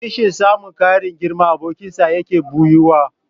Kishin samun ƙarin girman abokinsa yaƙi ɓoyuwa.